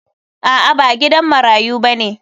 A'a ba gidan marayu bane.